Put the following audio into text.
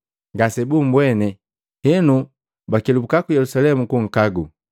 Ngasebumbweni, henu bakelubukya ku Yelusalemu kunkagu.